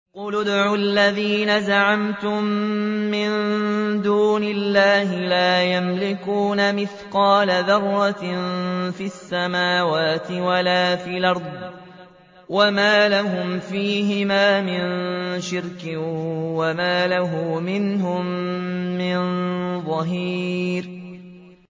قُلِ ادْعُوا الَّذِينَ زَعَمْتُم مِّن دُونِ اللَّهِ ۖ لَا يَمْلِكُونَ مِثْقَالَ ذَرَّةٍ فِي السَّمَاوَاتِ وَلَا فِي الْأَرْضِ وَمَا لَهُمْ فِيهِمَا مِن شِرْكٍ وَمَا لَهُ مِنْهُم مِّن ظَهِيرٍ